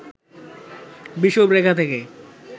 বিষুবরেখা থেকে